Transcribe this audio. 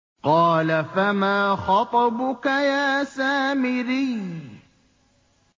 قَالَ فَمَا خَطْبُكَ يَا سَامِرِيُّ